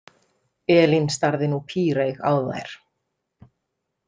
Elín starði nú píreyg á þær.